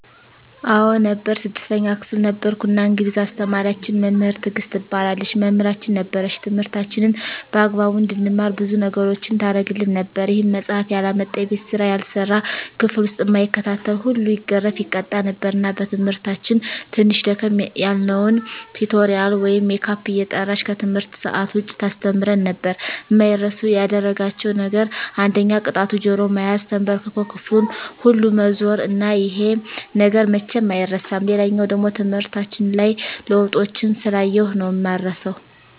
አዎ ነበር 6ተኛ ክፍል ነበርኩ እና እንግሊዝ አስተማሪያችን መምህር ትግስት ትባላለች መምህራችን ነበረች ትምህርታችንን በአግባቡ እንድንማር ብዙ ነገሮችን ታረግልን ነበር ይሄም መፃሐፍ ያላመጣ፣ የቤት ስራ ያልሰራ፣ ክፍል ዉስጥ እማይከታተል ሁሉ ይገረፍ( ይቀጣ ) ነበር እና በትምህርታችን ትንሽ ደከም ያልነዉን ቲቶሪያል ወይም ሜካፕ እየጠራች ከትምህርት ሰአት ዉጭ ታስተምረን ነበር። አማይረሱ ያደረጋቸዉ ነገር አንደኛ ቅጣቱ ጆሮ መያዝ፣ ተንበርክኮ ክፍሉን ሁሉ መዞር እና ይሄ ነገር መቼም አይረሳም። ሌላኛዉ ደሞ ትምህርታችን ላይ ለዉጦችን ስላየሁ ነዉ እማረሳዉ።